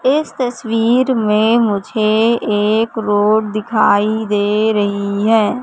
इस तस्वीर में मुझे एक रोड दिखाई दे रही है।